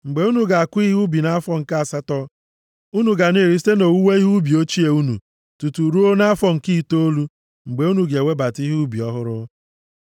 Mgbe unu ga-akụ ihe ubi nʼafọ nke asatọ unu ga na-eri site nʼowuwe ihe ubi ochie unu tutu ruo nʼafọ nke itoolu mgbe unu ga-ewebata ihe ubi ọhụrụ.